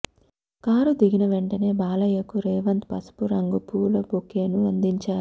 car దిగిన వెంటనే బాలయ్యకు రేవంత్ పసుపు రంగు పూల బొకేను అందించారు